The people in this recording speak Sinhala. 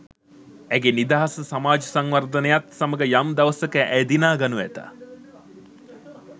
ඇගේ නිදහස සමාජ සංවර්ධනයත් සමග යම් දවසක ඇය දිනාගනු ඇත.